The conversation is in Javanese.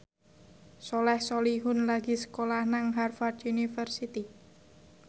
Soleh Solihun lagi sekolah nang Harvard university